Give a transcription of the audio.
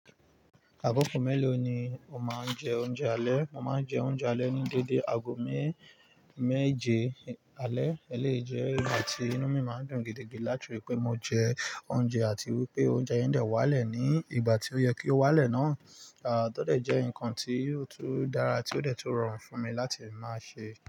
Àgọ́gọ̀ mélòó ni o máa ń jẹ oúnjẹ alẹ́? Mo máa ń jẹ oúnjẹ alẹ́ ní dédé aago mé- méje alẹ́. Eleyi jẹ́ igbà tí inú mi máa ń dùn gidigidi láti ri pé mo jẹ oúnjẹ àti wípé oúnjẹ yen dè wá le ní ìgbà tí ó yẹ kí ó wá lẹ́ náà. Tó dè jẹ́ ǹkan tí ó tun dára tí ó de tun rọrùn fún mi láti máa ṣe.